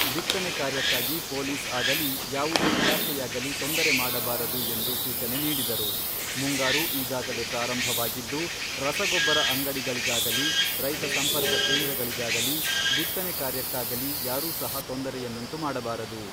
ಬಿತ್ತನೆ ಕಾರ್ಯಕ್ಕಾಗಿ ಪೊಲೀಸ್ ಆಗಲೀ ಯಾವುದೇ ಇಲಾಖೆಯಾಗಲಿ ತೊಂದರೆ ಮಾಡಬಾರದು ಎಂದು ಸೂಚನೆ ನೀಡಿದರು.ಮುಂಗಾರು ಈಗಾಗಲೇ ಪ್ರಾರಂಭವಾಗಿದ್ದು, ರಸಗೊಬ್ಬರ ಅಂಗಡಿಗಳಿಗಾಗಲೀ, ರೈತ ಸಂಪರ್ಕ ಕೇಂದ್ರಗಳಿಗಾಗಲೀ, ಬಿತ್ತನೆ ಕಾರ್ಯಕ್ಕಾಗಲೀ ಯಾರೂ ಸಹ ತೊಂದರೆಯನ್ನುಂಟು ಮಾಡಬಾರದು.